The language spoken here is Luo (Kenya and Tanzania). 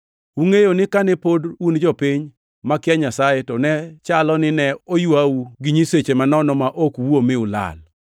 Ungʼeyo ni kane pod un jopiny, makia Nyasaye, to ne chalo nine oywau gi nyiseche manono ma ok wuo mi ulal.